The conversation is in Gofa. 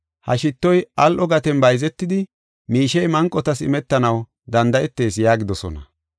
Ha shittoy al7o gaten bayzetidi, miishey manqotas imetanaw danda7etees” yaagidosona.